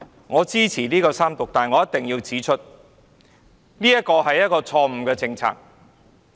我支持三讀，但我一定要指出這是一項錯誤的政策。